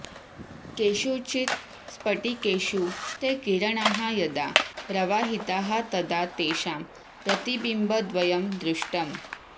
केषुचित् स्फटिकेषु ते किरणाः यदा प्रवाहिताः तदा तेषां प्रतिबिम्बद्वयं दृष्टम्